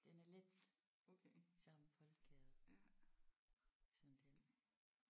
Den er lidt samme boldgade som den